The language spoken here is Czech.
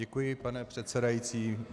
Děkuji, pane předsedající.